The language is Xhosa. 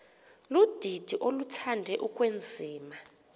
ludidi oluthande ukwenziwa